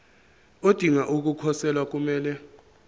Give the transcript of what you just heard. odinga ukukhosela kumele